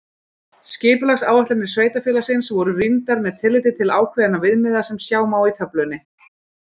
Skipulagsáætlanir sveitarfélagsins voru rýndar með tilliti til ákveðinna viðmiða sem sjá má í töflunni.